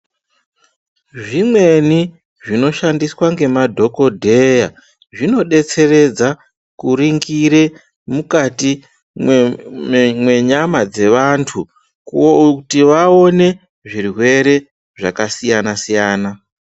Zvimweni zvinoshandiswa ngemadhogodheya zvinodetseredza kuringire mukati mwenyama dzevanthu kuti vaone zvirwere zvakasiyana siyana.